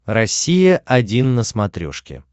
россия один на смотрешке